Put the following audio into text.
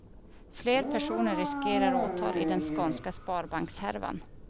Fler personer riskerar åtal i den skånska sparbankshärvan.